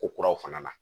Ko kuraw fana na